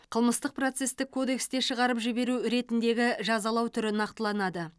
қылмыстық процестік кодексте шығарып жіберу ретіндегі жазалау түрі нақтыланады